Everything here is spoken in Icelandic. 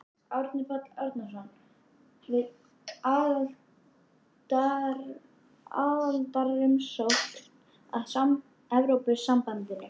Árni Páll Árnason: Við aðildarumsókn að Evrópusambandinu?